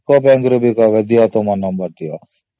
UCO ର ବି କହିବେ ଯେ ଦିଅ ତୁମ number ବୋଲି